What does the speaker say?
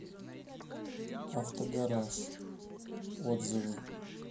автогараж отзывы